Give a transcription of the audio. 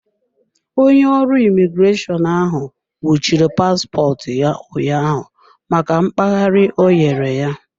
Onye ọrụ imigreshọnụ ahụ nwụchiri paspọtụ ya ụnyaahụ maka mkpaghari ọ nyere ya.